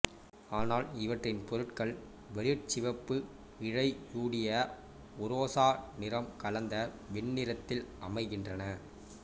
ஆனால் இவற்றின் பொருள்கள் வெளிர்சிவப்பு இழையூடிய உரோசா நிறம் கலந்த வெண்ணிறத்தில் அமைகின்றன